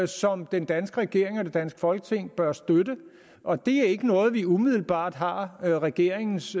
som den danske regering og det danske folketing bør støtte og det er ikke noget vi umiddelbart har regeringens